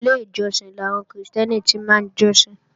Inú ilé ìjọsìn làwọn Krìstẹ́nì ti máa ń jọ́sìn